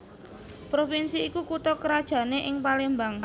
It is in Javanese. Provinsi iku kutha krajané ing Palembang